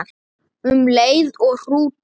Um leið og hrútur